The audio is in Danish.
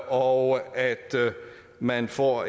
og at man får